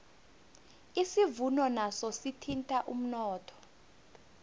isivuno naso sithinta umnotho